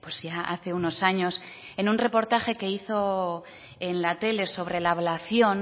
ya hace unos años en un reportaje que hizo en la tele sobre la ablación